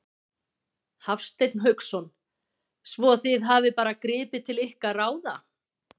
Hafsteinn Hauksson: Svo þið hafið bara gripið til ykkar ráða?